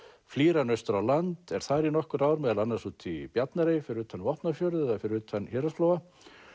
flýr hann austur á land og er þar í nokkur ár meðal annars úti í Bjarnarey fyrir utan Vopnafjörð eða fyrir utan Héraðsflóa